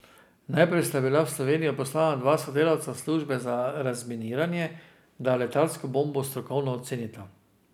Najprej sta bila v Slovenijo poslana dva sodelavca službe za razminiranje, da letalsko bombo strokovno ocenita.